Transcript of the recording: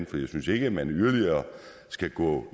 for jeg synes ikke at man skal gå